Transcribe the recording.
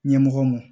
Ɲɛmɔgɔ ma